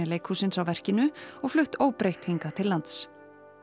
leikhússins á verkinu og flutt óbreytt hingað til lands